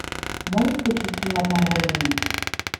можешь включить фильм отмороженные